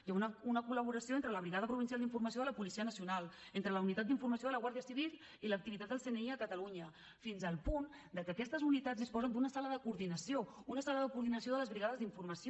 hi ha una col·laboració entre la brigada provincial d’informació de la policia nacional entre la unitat d’informació de la guàrdia civil i l’activitat del cni a catalunya fins al punt de que aquestes unitats disposen d’una sala de coordinació una sala de coordinació de les brigades d’informació